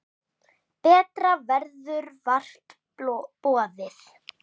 Betra verður vart boðið.